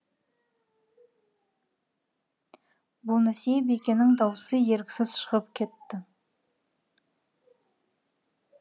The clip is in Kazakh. бонасье бикенің даусы еріксіз шығып кетті